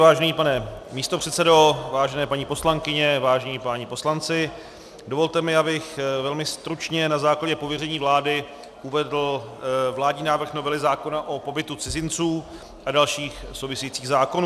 Vážený pane místopředsedo, vážené paní poslankyně, vážení páni poslanci, dovolte mi, abych velmi stručně na základě pověření vlády uvedl vládní návrh novely zákona o pobytu cizinců a dalších souvisejících zákonů.